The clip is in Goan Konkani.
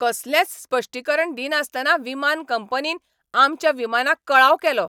कसलेंच स्पश्टीकरण दिनासतना विमान कंपनीन आमच्या विमानाक कळाव केलो.